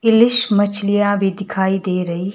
किलिश मछलियां भी दिखाई दे रही--